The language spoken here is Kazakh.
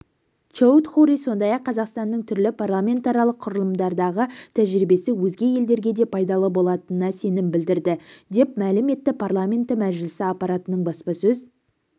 чоудхури сондай-ақ қазақстанның түрлі парламентаралық құрылымдардағы тәжірибесі өзге елдерге де пайдалы болатынына сенім білдірді деп мәлім етті парламенті мәжілісі аппаратының баспасөз